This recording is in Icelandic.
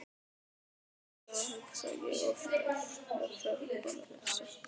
Þá hugsa ég oft að ef þær bara vissu.